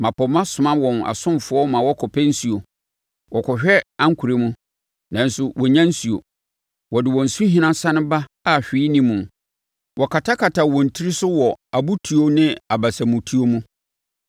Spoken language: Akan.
Mmapɔmma soma wɔn asomfoɔ ma wɔkɔpɛ nsuo; wɔkɔhwɛ ankorɛ mu nanso wɔnnya nsuo. Wɔde wɔn nsuhina sane ba a hwee nni mu; wɔkatakata wɔn tiri so wɔ abotuo ne abasamutuo mu.